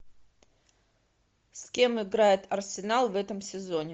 с кем играет арсенал в этом сезоне